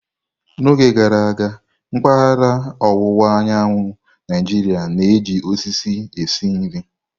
N'oge gara aga, mpaghara ọwụwa anyanwụ Naijiria na-eji osisi esi nri.